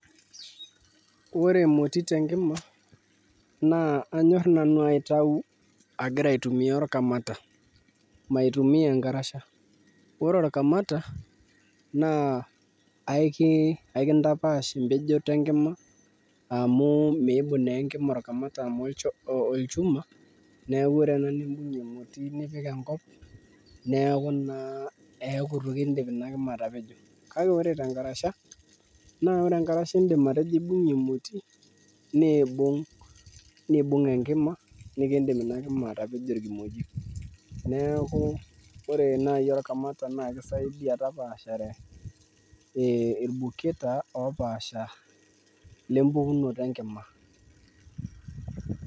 Ore emoti tenkima naa anyorr nanu aitau agira aitumia orkamata maitumia enkarasha, ore orkamata naa kakintapaash empejoto enkima amu miidim naa enkima orkamata amu olchuma, neeku ore ena nimbng'ie emoti nipik enkop neeku naa eeku itu kindim ina kima atapejo kake ore tenkarasha naa ore enkarasha indim atejo aibung'ie emoti niibung' enkima, nikiindima ina kima atapejo irkimojik neeku ore naai orkamata naa kisaidia tapaashare ee irbuketa oopaasha lempukunoto enkima.